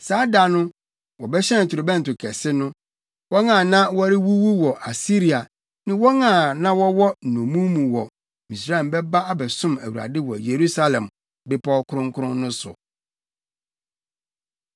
Saa da no, wɔbɛhyɛn torobɛnto kɛse no. Wɔn a na wɔrewuwu wɔ Asiria ne wɔn a na wɔwɔ nnommum mu wɔ Misraim bɛba abɛsom Awurade wɔ Yerusalem bepɔw kronkron no so.